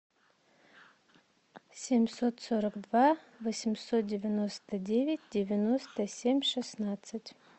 семьсот сорок два восемьсот девяносто девять девяносто семь шестнадцать